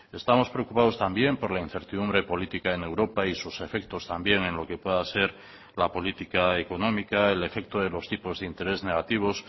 estamos preocupados también por la incertidumbre política en europa y sus efectos también en lo que pueda ser la política económica el efecto de los tipos de interés negativos